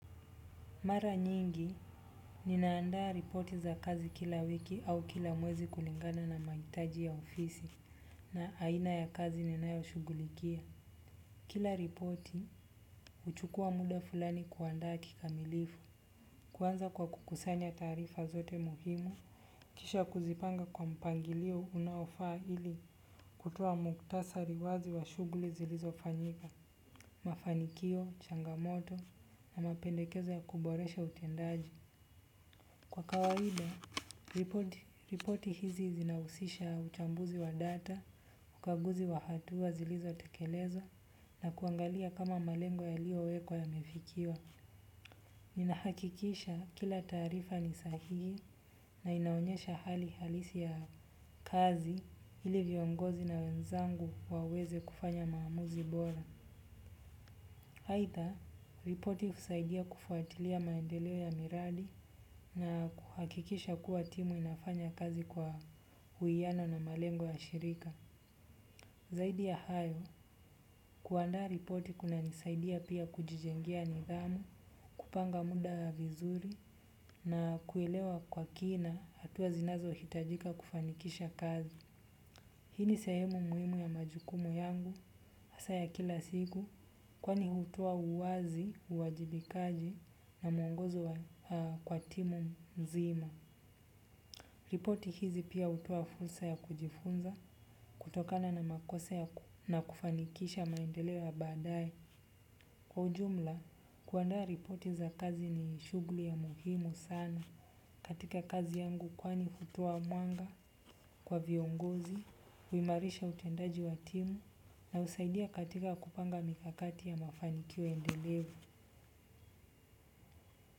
Mara nyingi, ninaandaa ripoti za kazi kila wiki au kila mwezi kulingana na mahitaji ya ofisi na aina ya kazi ninayo shughulikia. Kila ripoti, huchukua muda fulani kuandaa kikamilifu. Kuanza kwa kukusanya taarifa zote muhimu, kisha kuzipanga kwa mpangilio unaofaa ili kutoa muktasari wazi wa shughuli zilizo fanyika, mafanikio, changamoto na mapendekeza ya kuboresha utendaji. Kwa kawaida, ripoti hizi zinahusisha uchambuzi wa data, ukaguzi wa hatua zilizo tekelezwa na kuangalia kama malengo ya liyo wekwa ya mefikiwa. Ninahakikisha kila taarifa ni sahihi na inaonyesha hali halisi ya kazi ili viongozi na wenzangu waweze kufanya maamuzi bora. Aidha, ripoti husaidia kufuatilia maendeleo ya miradi na kuhakikisha kuwa timu inafanya kazi kwa uwiyano na malengo ya shirika. Zaidi ya hayo, kuandaa ripoti kuna nisaidia pia kujijengea nidhamu, kupanga muda vizuri na kuelewa kwa kina hatua zinazo hitajika kufanikisha kazi. Hiini sehemu muhimu ya majukumu yangu, hasa ya kila siku, kwani hutoa uwazi, uwajibikaji na mwongozo kwa timu mzima. Ripoti hizi pia hutoa fursa ya kujifunza, kutokana na makosa na kufanikisha maendeleoya baadaye. Kwa ujumla, kuandaa ripoti za kazi ni shughuli ya muhimu sana. Katika kazi yangu kwani hutoa mwanga kwa viongozi, huimarisha utendaji watimu na husaidia katika kupanga mikakati ya mafanikio endelevu.